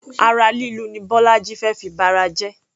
Ara lílu ni bọ́lájí fé fi ba ara jẹ.